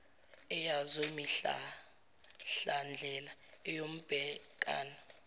eyazo imihlahlandlela eyobhekana